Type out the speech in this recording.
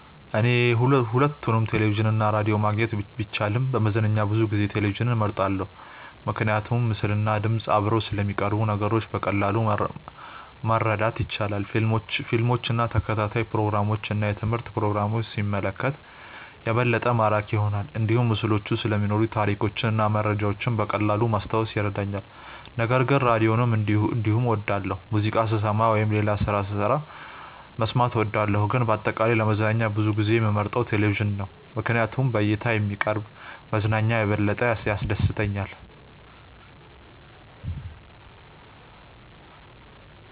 እኔ ሁለቱንም ቴሌቪዥን እና ራዲዮ ማግኘት ቢቻልም ለመዝናኛ ብዙ ጊዜ ቴሌቪዥንን እመርጣለሁ። ምክንያቱም ምስልና ድምፅ አብረው ስለሚቀርቡ ነገሮችን በቀላሉ ማረዳት ይቻላል። ፊልሞችን፣ ተከታታይ ፕሮግራሞችን እና የትምህርት ፕሮግራሞችን ሲመለከት የበለጠ ማራኪ ይሆናል። እንዲሁም ምስሎች ስለሚኖሩ ታሪኮችን እና መረጃዎችን በቀላሉ ማስታወስ ይረዳኛል። ነገር ግን ራዲዮንም እንዲሁ እወዳለሁ፣ ሙዚቃ ስሰማ ወይም ሌላ ስራ ስሰራ መስማት እወዳለሁ። ግን በአጠቃላይ ለመዝናኛ ብዙ ጊዜ የምመርጠው ቴሌቪዥን ነው ምክንያቱም በእይታ የሚቀርብ መዝናኛ የበለጠ ያስደስተኛል።